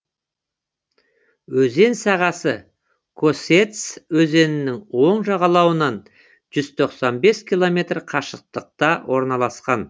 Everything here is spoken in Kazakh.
өзен сағасы косец өзенінің оң жағалауынан жүз тоқсан бес километр қашықтықта орналасқан